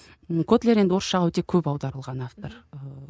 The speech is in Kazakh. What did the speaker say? ы котлер енді ол орысшаға өте көп аударылған автор ыыы